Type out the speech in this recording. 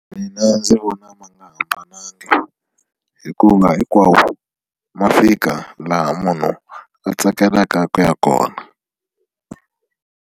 Mina ndzi vona ma nga hambananga hikuva hinkwawo ma fika laha munhu a tsakelaka ku ya kona.